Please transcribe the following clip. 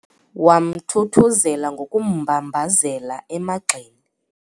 Wamthuthuzela ngokummbambazela emagxeni.